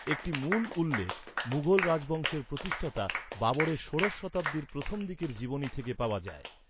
একটি মূল উল্লেখ, মুঘল রাজবংশের প্রতিষ্ঠাতা বাবরের ষোড়শ শতাব্দীর প্রথম দিকের জীবনী থেকে পাওয়া যায়।